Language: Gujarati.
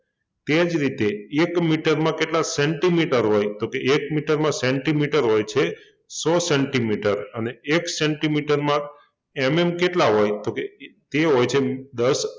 તે જ રીતે એક મીટરમાં કેટલા સેંટીમીટર હોય તો કે એક મીટરમાં સેંટીમીટર હોય છે સો સેંટીમીટર અને એક સેંટીમીટરમાં MM કેટલા હોય તો કે એ હોય છે દસ